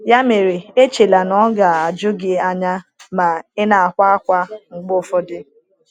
Ya mere, echela na ọ ga-ajụ gị anya ma ị na-akwa ákwá mgbe ụfọdụ.